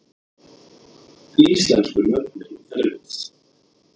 Íslensku nöfnin erfið